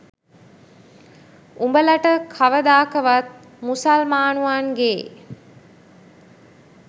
උබලට කවදාකවත් මුසල්මානුවන්ගේ